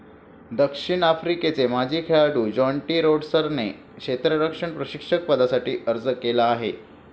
दक्षिण आफ्रिकेचे माजी खेळाडू ज्याँटी रोड्सने क्षेत्ररक्षण प्रशिक्षक पदासाठी अर्ज केला आहे.